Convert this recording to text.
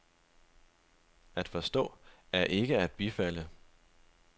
At forstå er ikke at bifalde.